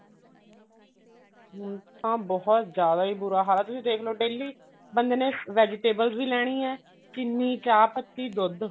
ਹੁਣ ਤਾਂ ਬਹੁਤ ਜ਼ਿਆਦਾ ਬੁਰਾ ਹਾਲ ਆ ਤੁਸੀਂ ਦੇਖਲੋ daily ਬੰਦੇ ਨੇ vegetables ਵੀ ਲੈਣੀਆਂ ਚਿੰਨੀ ਚਾਹ ਪੱਤੀ ਦੁੱਧ